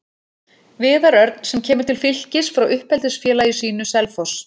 Viðar Örn sem kemur til Fylkis frá uppeldisfélagi sínu, Selfoss.